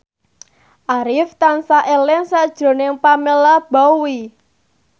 Arif tansah eling sakjroning Pamela Bowie